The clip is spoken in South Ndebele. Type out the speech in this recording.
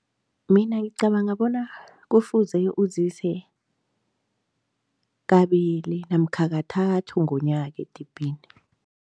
Mina ngicabanga bona kufuze uzise kabili namkha kathathu ngonyaka edibhini.